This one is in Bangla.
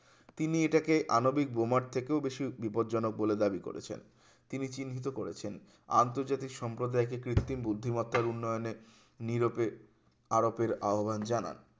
তিনি এটাকে আনবিক বোমোট থেকেও বেশি বিপদজনক বলে দাবি করেছেন তিনি চিহ্নিত করেছেন আন্তর্জাতিক সম্প্রদায়কে কৃত্রিম বুদ্ধিমত্তার উন্নয়নে নিরপেখ আরোপের আহ্বান জানান